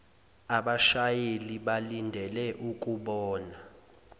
abashayeli balindele ukukubona